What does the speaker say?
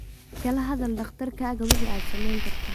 Kala hadal dhakhtarkaaga wixii aad samayn karto.